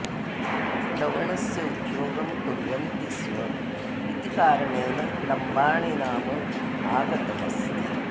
लवणस्य उद्योगं कुर्वन्ति स्म इति कारणेन लम्बाणि नाम आगतमस्ति